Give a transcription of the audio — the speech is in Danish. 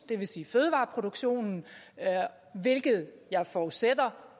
det vil sige fødevareproduktionen hvilket jeg forudsætter